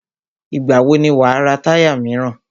Ìgbà wò ni wà á ra táyà míràn?